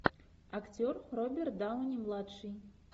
актер роберт дауни младший